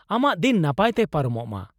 ᱟᱢᱟᱜ ᱫᱤᱱ ᱱᱟᱯᱟᱭ ᱛᱮ ᱯᱟᱨᱚᱢᱚᱜ ᱢᱟ ᱾